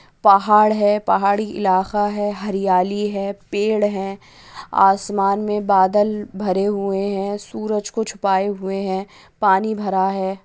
पहाड़ है पहाड़ी इलाका है हरियाली है पेड़ है आसमान में बादल भरे हुए है सूरज को छुपाये हुए है पानी भरा है।